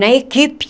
Na equipe.